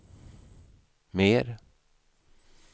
mer